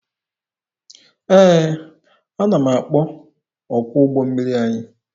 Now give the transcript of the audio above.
Ee, ana m akpọ ọkwọ ụgbọ mmiri anyị.